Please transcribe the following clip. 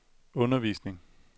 undervisning